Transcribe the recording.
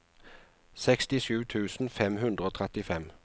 sekstisju tusen fem hundre og trettifem